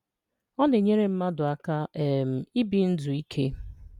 Ọ̀ na-ényèrè̀ mmadụ̀ aka um ibì ndù̀ ìkè